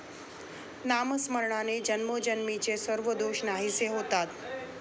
नामस्मरणाने जन्मोजन्मीचे सर्व दोष नाहीसे होतात.